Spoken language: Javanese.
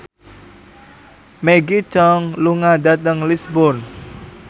Maggie Cheung lunga dhateng Lisburn